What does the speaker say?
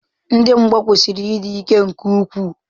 Ndị mgba kwesịrị ịdị ike nke ukwuu.